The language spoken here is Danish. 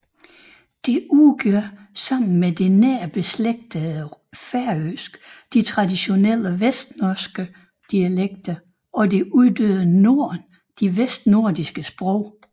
Det udgør sammen med det nært beslægtede færøsk de traditionelle vestnorske dialekter og det uddøde norn de vestnordiske sprog